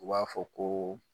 U b'a fɔ koo